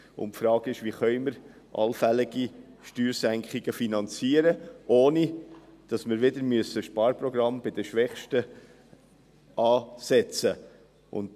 Es stellt sich die Frage, wie wir allfällige Steuersenkungen finanzieren können, ohne dass wir wieder ein Sparprogramm bei den Schwächsten ansetzen müssen.